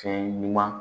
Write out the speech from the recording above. Fɛn ɲuman